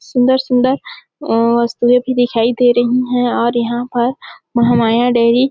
सुन्दर-सुन्दर अ वस्तुएं भी दिखाई दे रही है और यहाँ पर महामाया डेयरी --